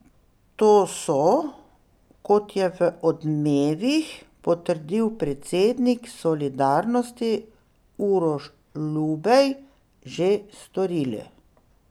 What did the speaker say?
To so, kot je v Odmevih potrdil predsednik Solidarnosti Uroš Lubej, že storili.